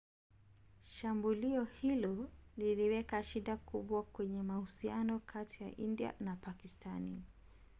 shambulio hilo liliweka shida kubwa kwenye mahusiano kati ya india na pakistani